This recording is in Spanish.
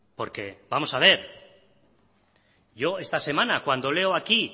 porque vamos a ver yo esta semana cuando leo aquí